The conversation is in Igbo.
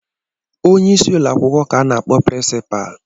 Onye isi ụlọ akwụkwọ ka a na-akpọ piricipa